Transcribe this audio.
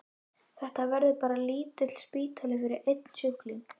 Þetta verður bara lítill spítali fyrir einn sjúkling.